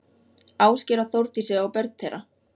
Ásgeir og Þórdísi og börn þeirra.